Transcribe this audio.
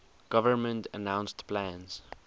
government announced plans